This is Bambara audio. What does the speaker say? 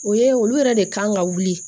O ye olu yɛrɛ de kan ka wuli